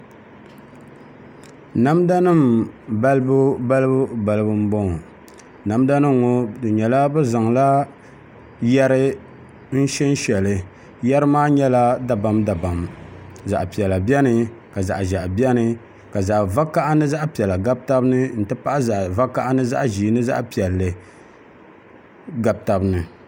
Namda nim balibu balibu balibu n bɔŋɔ namda nim ŋɔ di nyɛla bi zaŋla yɛri n shɛn shɛli yɛri maa nyɛla dabam dabam zaɣ piɛla biɛni ka zaɣ ʒiɛhi biɛni ka zaɣ vakaɣa ni ni zaɣ piɛla gabi tabi ni n ti pahi zaɣ vakaɣa ni zaɣ ʒiɛ ni zaɣ piɛlli gabi tabi ni